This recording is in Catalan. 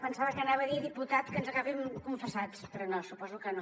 pensava que anava a dir diputat que ens agafi confessats però no suposo que no